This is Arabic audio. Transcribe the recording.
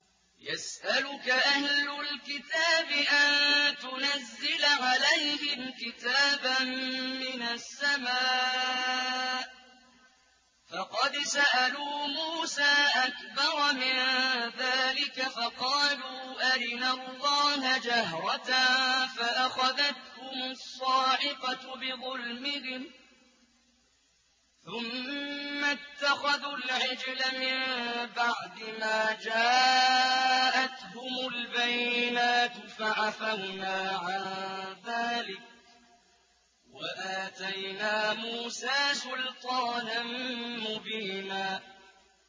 يَسْأَلُكَ أَهْلُ الْكِتَابِ أَن تُنَزِّلَ عَلَيْهِمْ كِتَابًا مِّنَ السَّمَاءِ ۚ فَقَدْ سَأَلُوا مُوسَىٰ أَكْبَرَ مِن ذَٰلِكَ فَقَالُوا أَرِنَا اللَّهَ جَهْرَةً فَأَخَذَتْهُمُ الصَّاعِقَةُ بِظُلْمِهِمْ ۚ ثُمَّ اتَّخَذُوا الْعِجْلَ مِن بَعْدِ مَا جَاءَتْهُمُ الْبَيِّنَاتُ فَعَفَوْنَا عَن ذَٰلِكَ ۚ وَآتَيْنَا مُوسَىٰ سُلْطَانًا مُّبِينًا